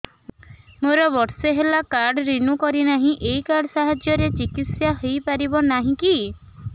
ମୋର ବର୍ଷେ ହେଲା କାର୍ଡ ରିନିଓ କରିନାହିଁ ଏହି କାର୍ଡ ସାହାଯ୍ୟରେ ଚିକିସୟା ହୈ ପାରିବନାହିଁ କି